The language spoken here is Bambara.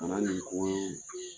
nin